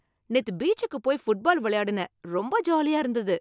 நேத்து பீச்சுக்கு போய் ஃபுட்பால் விளையாடுனேன். ரொம்ப ஜாலியா இருந்தது